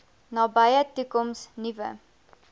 nabye toekoms nuwe